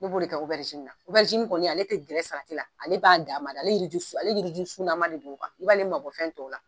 Ne b'o de kɛ na, kɔni ale ti gɛrɛ salati la, ale b'a dama, ale yiriji ale yiriji sunama de don, i b'ale mabɔ fɛn tɔw la.